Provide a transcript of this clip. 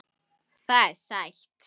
Það er sætt.